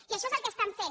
i això és el que estan fent